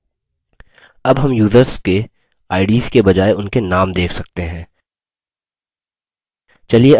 अब names users के ids के बजाय उनके now देख सकते हैं